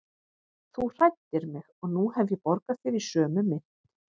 Þú hræddir mig og nú hef ég borgað þér í sömu mynt.